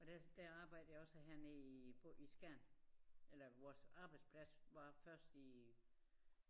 Og der der arbejdede jeg også hernede i i Skjern eller vores arbejdsplads var først i